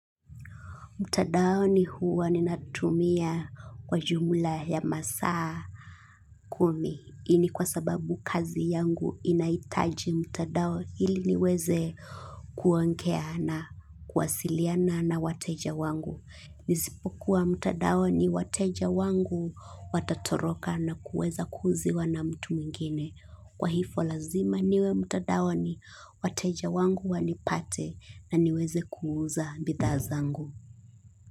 Mtandaoni huwa ninatumia kwa jumla ya masaa kumi. Hii ni kwa sababu kazi yangu inahitaji mtandao ili niweze kuongea, na kuwasiliana na wateja wangu. Nisipokuwa mtandaoni wateja wangu watatoroka na kuweza kuuziwa na mtu mwingine. Kwa hivo lazima niwe mtandaoni wateja wangu wanipate na niweze kuuza bidhaa zangu.